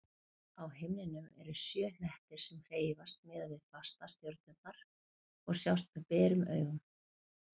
Á himninum eru sjö hnettir sem hreyfast miðað við fastastjörnurnar og sjást með berum augum.